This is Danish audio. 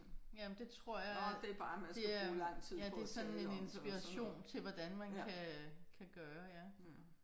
Ja men det tror jeg er det er ja det er sådan en inspiration til hvordan man kan kan gøre ja